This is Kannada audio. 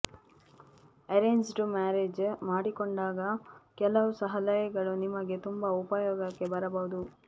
ಅರೇಂಜ್ಡ್ ಮ್ಯಾರೇಜ್ ಮಾಡಿಕೊಂಡಾಗ ಕೆಲವು ಸಲಹೆಗಳು ನಿಮಗೆ ತುಂಬಾ ಉಪಯೋಗಕ್ಕೆ ಬರಬಹುದು